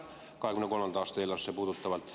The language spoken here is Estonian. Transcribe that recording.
Just 2023. aasta eelarvesse puutuvalt.